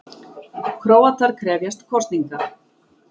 Króatar krefjast kosninga